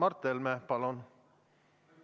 Mart Helme, palun!